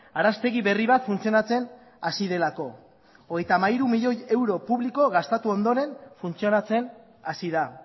araztegi berri bat funtzionatzen hasi delako hogeita hamairu milioi euro publiko gastatu ondoren funtzionatzen hasi da